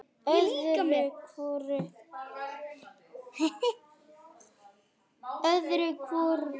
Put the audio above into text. Öðru hvoru skiptir maður út.